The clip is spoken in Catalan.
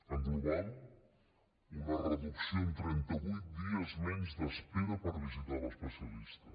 en global una reducció en trenta vuit dies menys d’espera per a visitar l’especialista